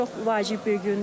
Bugün çox vacib bir gündür.